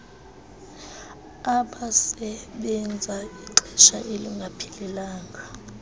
abasebenza ixesha elingaphelelanga